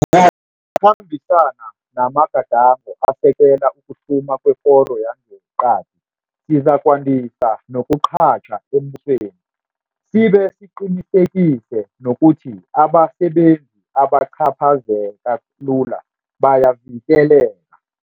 khambisana namagadango asekela ukuhluma kwekoro yangeqadi, sizakwandisa nokuqatjha embusweni, sibe siqinisekise nokuthi abasebenzi abacaphazeka lula bayavikeleka.